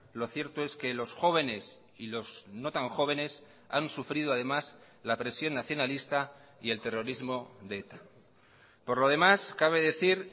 lo cierto es que los jóvenes y los no tan jóvenes han sufrido además la presión nacionalista y el terrorismo de eta por lo demás cabe decir